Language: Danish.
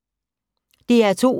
DR2